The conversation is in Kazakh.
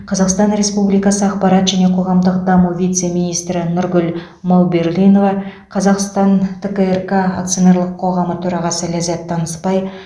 қазақстан республикасы ақпарат және қоғамдық даму вице министрі нұргүл мауберлинова қазақстан түрік акционерлік қоғамы төрағасы ләззат танысбай